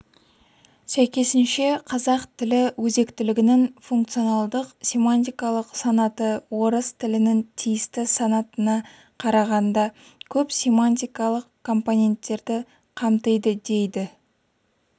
сәйкесінше қазақ тілі өзектілігінің функционалдық-семантикалық санаты орыс тілінің тиісті санатына қарағанда көп семантикалық компоненттерді қамтиды дейді